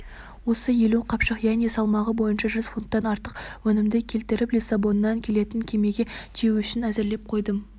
осы елу қапшық яғни салмағы бойынша жүз фунттан артық өнімді кептіріп лиссабоннан келетін кемеге тиеу үшін әзірлеп қойдым